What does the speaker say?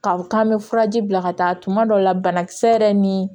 Ka k'an bɛ furaji bila ka taa tuma dɔ la banakisɛ yɛrɛ ni